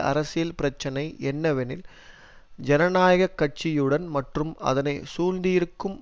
அரசியல் பிரச்சினை என்னவெனில் ஜனநாயக கட்சியுடன் மற்றும் அதனை சூழ்ந்திருக்கும்